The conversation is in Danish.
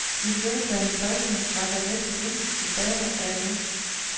I begyndelsen af halvtredserne var der næsten intet tilbage af den.